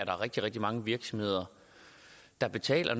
der rigtig rigtig mange virksomheder der betaler